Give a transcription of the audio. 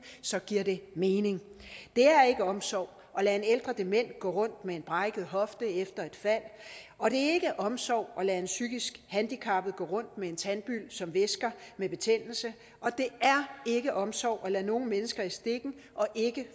giver det mening det er ikke omsorg at lade en ældre dement gå rundt med en brækket hofte efter et fald og det er ikke omsorg at lade en psykisk handicappet person gå rundt med en tandbyld som væsker med betændelse og det er ikke omsorg at lade nogen mennesker i stikken og ikke